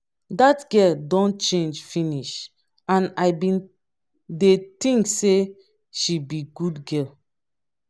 dat girl don change finish and i bin dey think say she be good girl